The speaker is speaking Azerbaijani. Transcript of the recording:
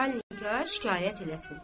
Açar nikah şikayət eləsin.